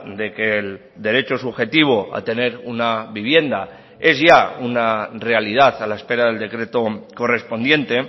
de que el derecho subjetivo a tener una vivienda es ya una realidad a la espera del decreto correspondiente